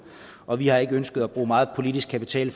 og vi har ikke ønsket at bruge meget politisk kapital